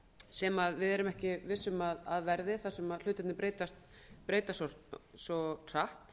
sem við erum ekki vissum að verði þar sem hlutirnir breytast svo hratt